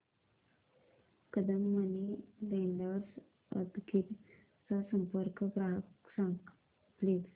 Kadam money lenders Udgir चा संपर्क क्रमांक सांग प्लीज